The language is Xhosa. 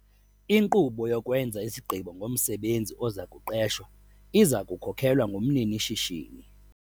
Inkqubo yokwenza isigqibo ngomsebenzi oza kuqeshwa iza kukhokelwa ngumnini-shishini.